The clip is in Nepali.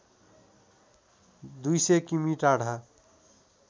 २०० किमि टाढा